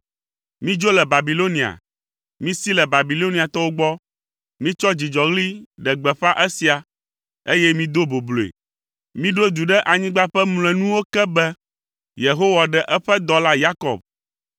Midzo le Babilonia, misi le Babiloniatɔwo gbɔ! Mitsɔ dzidzɔɣli ɖe gbeƒã esia, eye mido bobloe. Miɖo du ɖe anyigba ƒe mlɔenuwo ke be, “Yehowa ɖe eƒe dɔla Yakob”